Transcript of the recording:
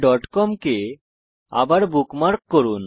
googleকম কে আবার বুকমার্ক করুন